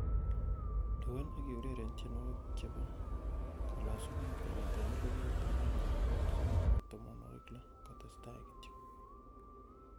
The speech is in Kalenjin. lewen ak eureren tienywogik chepo kolosunet kong'ete eliput agenge bogol sogol ak tomonwogik loo kotestaa kityo